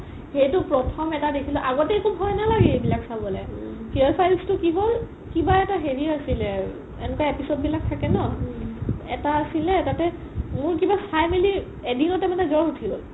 সেইটো প্ৰথম এটা দেখিলো আগতে একো ভয় নালাগে এইবিলাক চাবলে fear files টো কি হ'ল কিবা এটা হেৰি আছিলে এনেকুৱা episode বিলাক থাকে ন এটা আছিলে মোৰ কিবা চাই মিলি এদিনতে জ'ৰ উথিল